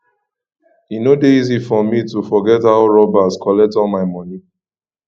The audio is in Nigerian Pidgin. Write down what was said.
e no dey easy for me to forget how robbers collect all my moni